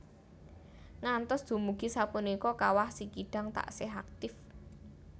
Ngantos dumugi sapunika Kawah Sikidang taksih aktif